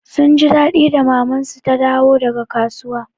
Sun ji daɗi da maman su ta dawo daga kasuwa.